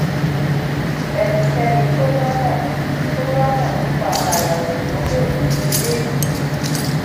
ẹnikéni tó bá mọ tó bá mọ nípa àkàrà òyìnbó le rí eléyìí